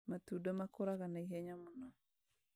Matunda makũraga naihenya mũno